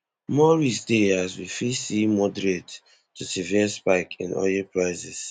more risk dey as we fit see moderate to severe spike in oil prices